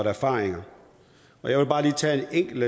erfaringer jeg vil bare lige tage en enkel